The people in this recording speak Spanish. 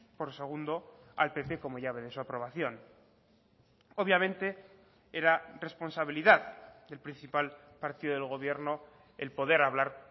por segundo al pp como ya ven en su aprobación obviamente era responsabilidad del principal partido del gobierno el poder hablar